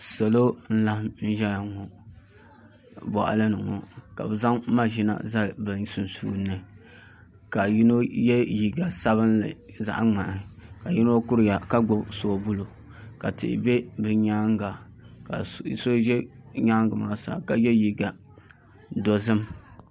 Salo n laɣam ʒɛ boɣali ni ŋo ka bi zaŋ maʒina zali bi sunsuuni ni naka yino yɛ liiga sabinli zaɣ ŋmaa ka yino kuriya ka gbubi soobuli ka tihi ʒɛ bi nyaanga ka so bɛ nyaangi maa sa ka yɛ liiga dozim